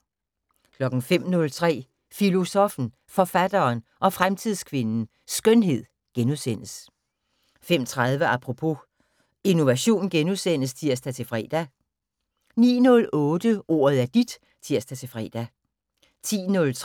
05:03: Filosoffen, Forfatteren og Fremtidskvinden - Skønhed * 05:30: Apropos - Innovation *(tir-fre) 09:08: Ordet er dit (tir-fre)